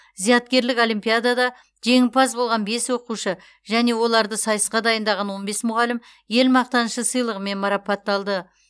зияткерлік олимпиадада жеңімпаз болған бес оқушы және оларды сайысқа дайындаған он бес мұғалім ел мақтанышы сыйлығымен марапатталды